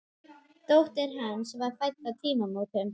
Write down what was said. Dóttir hans var fædd á tímamótum.